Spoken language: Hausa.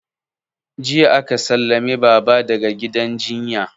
Jiya aka sallame baba daga gidan jinya